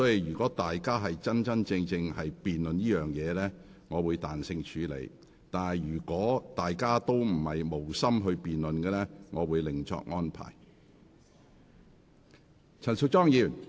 如議員認真進行辯論，我會彈性處理；但如議員無心辯論，我會另作安排。